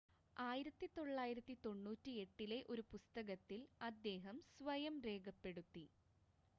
1998-ലെ ഒരു പുസ്തകത്തിൽ അദ്ദേഹം സ്വയം രേഖപ്പെടുത്തി